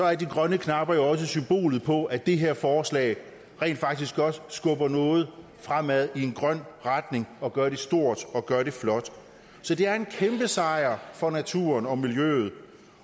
er de grønne knapper jo også symbolet på at det her forslag rent faktisk skubber noget fremad i en grøn retning og gør det stort og gør det flot så det er en kæmpesejr for naturen og miljøet